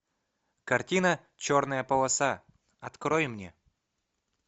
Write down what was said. картина черная полоса открой мне